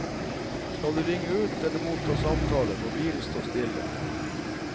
Skal du ringe ut eller motta samtaler, må bilen stå stille.